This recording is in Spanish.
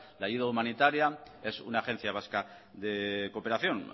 la ayuda humanitaria es una agencia vasca de cooperación